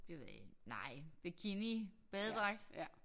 Det ved jeg ikke nej bikini badedragt